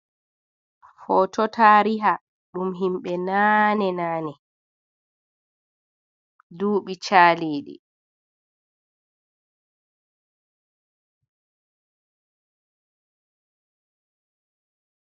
Footo taariha ɗum himɓe naane -naane duuɓi caaliiɗi.